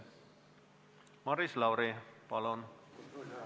Maris Lauri, palun!